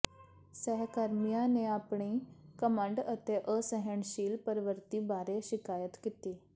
ਸਹਿਕਰਮੀਆਂ ਨੇ ਆਪਣੀ ਘਮੰਡ ਅਤੇ ਅਸਹਿਣਸ਼ੀਲ ਪ੍ਰਵਿਰਤੀ ਬਾਰੇ ਸ਼ਿਕਾਇਤ ਕੀਤੀ